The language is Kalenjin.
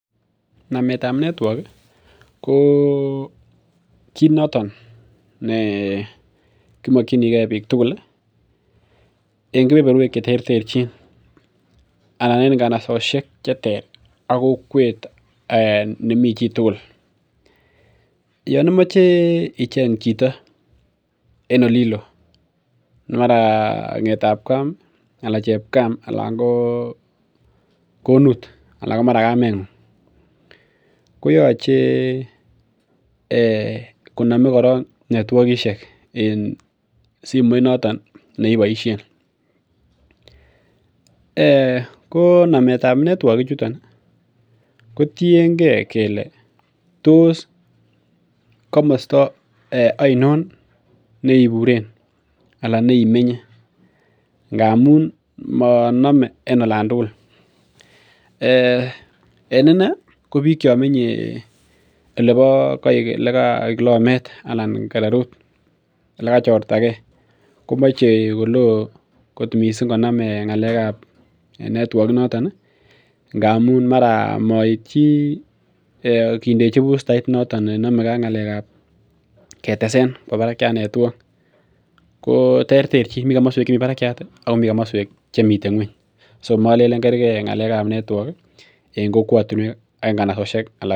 Naetab network ko kimakyinige bik tugul ih, en kebeberuek cheterterchin, anan en inganasosiek cheter ak kokwet nemi chitugul, Yoon imache icheng chito, en olilo mara ng'etab Kam anan chep Kam , mara konut anan mara kameng'ung, koyache koname koron network en simoit noton nekiboisien ko nametab netuok ichutet kotos ano yeiburen ngamuun maname en oloon tugul, en inei ko bik cho menye lokomet anan yekachortage komache kouui missing nametab network en olotet ngamun mara maityi kindechibustait ketesen , miten kampunisiek chemi barak Ako kampunisiek chemi ng'uany so malenen kerge ng'alekab network